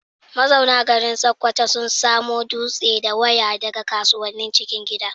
Mazauna garin Sokoto sun samo dutse da waya daga kasuwannin cikin gida.